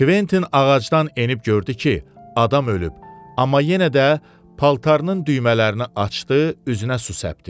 Kventin ağacdan enib gördü ki, adam ölüb, amma yenə də paltarının düymələrini açdı, üzünə su səpdi.